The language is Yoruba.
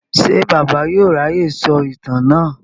Ṣé Bàbá yóò ráyè sọ ìtàn náà?